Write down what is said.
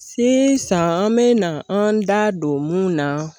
Sisan an be na an da don mun na